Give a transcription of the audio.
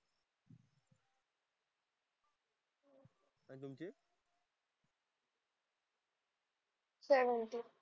काय म्हणतो.